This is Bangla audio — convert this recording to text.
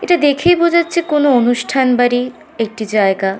এটা দেখেই বোঝা যাচ্ছে কোনো অনুষ্ঠান বাড়ির একটি জায়গা।